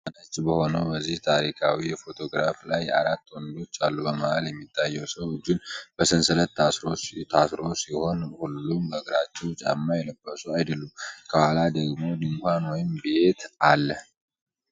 ጥቁር እና ነጭ በሆነው በዚህ ታሪካዊ ፎቶግራፍ ላይ አራት ወንዶች አሉ። በመሃል የሚታየው ሰው እጁን በሰንሰለት ታስሮ ሲሆን፣ ሁሉም በእግራቸው ጫማ የለበሱ አይደሉም። ከኋላ ደግሞ ድንኳን ወይም ቤት አለ።